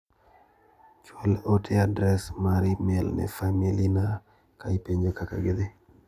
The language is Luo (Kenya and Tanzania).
chwal ote adres mar imel ne famili na ka ipenjo kaka gidhi.